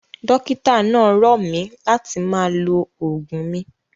Dókítà náà rọ̀ mí láti máa lo oògùn mi.